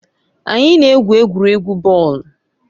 Anyị na-egwu egwuregwu bọọlụ.